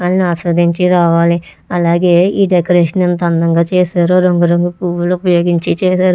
నేను ఆశీర్వదించి రావాలి అలాగే ఈ డెకరేషన్ ఎంత అందంగా చేశారో రంగులు రంగుల పువ్వులు ఉపయోగించి చేశారు.